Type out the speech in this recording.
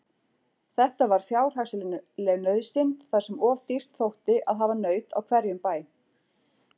Þetta var fjárhagsleg nauðsyn þar sem of dýrt þótti að hafa naut á hverjum bæ.